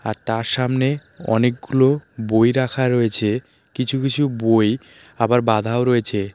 আর তার সামনে অনেকগুলো বই রাখা রয়েছে কিছু কিছু বই আবার বাঁধাও রয়েছে .